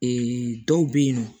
dɔw bɛ yennɔ